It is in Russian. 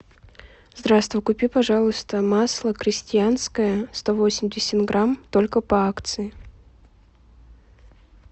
здравствуй купи пожалуйста масло крестьянское сто восемьдесят грамм только по акции